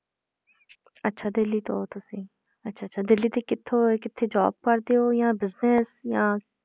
ਅੱਛਾ ਦਿੱਲੀ ਤੋਂ ਹੋ ਤੁਸੀਂ, ਅੱਛਾ ਅੱਛਾ ਦਿੱਲੀ ਦੇ ਕਿੱਥੋਂ ਕਿੱਥੇ job ਕਰਦੇ ਹੋ ਜਾਂ business ਜਾਂ